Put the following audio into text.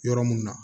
Yɔrɔ mun na